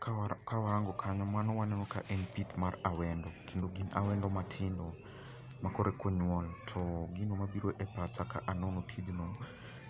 Kawa kawarango kanyo mano waneno ka en pith mar awendo kendo gin awendo matindo ma koreka onyuol to gino mabiro e pacha ka anono tijno